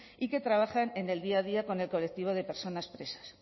y que trabajan en el día a día con el colectivo de personas presas